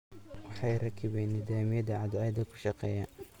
Waxay rakibeen nidaamyada cadceedda kushaaqeya.